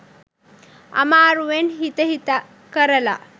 අමාරුවෙන් හිත හිත කරලා